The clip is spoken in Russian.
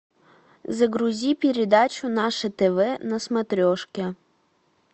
загрузи передачу наше тв на смотрешке